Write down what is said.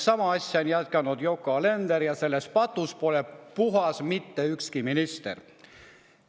Sama asja on jätkanud Yoko Alender ja sellest patust pole puhas mitte ükski minister.